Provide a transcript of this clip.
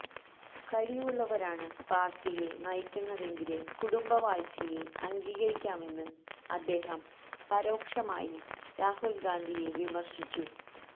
കഴിവുള്ളവരാണ് പാര്ട്ടിയെ നയിക്കുന്നതെങ്കില് കുടുംബവാഴ്ചയെ അംഗീകരിക്കാമെന്ന് അദ്ദേഹം പരോക്ഷമായി രാഹുല് ഗാന്ധിയെ വിമര്ശിച്ചു